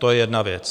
To je jedna věc.